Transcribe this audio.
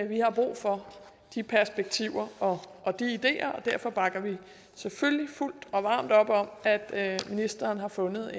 vi har brug for de perspektiver og de ideer og derfor bakker vi selvfølgelig fuldt og varmt op om at at ministeren har fundet